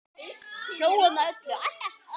Hlógum að öllu, alltaf.